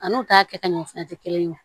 An n'u t'a kɛ ka ɲɛ fɛnɛ te kelen ye